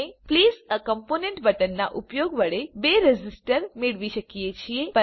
આપણે પ્લેસ એ કોમ્પોનન્ટ બટનના ઉપયોગ વડે બે રેઝિસ્ટર મેળવી શકીએ છીએ